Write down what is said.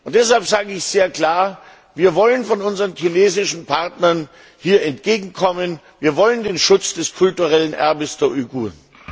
Deshalb sage ich sehr klar Wir wollen von unseren chinesischen Partnern hier Entgegenkommen, wir wollen den Schutz des kulturellen Erbes der Uiguren!